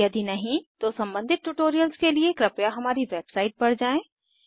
यदि नहीं तो सम्बंधित ट्यूटोरियल्स के लिए कृपया हमारी वेबसाइट पर जाएँ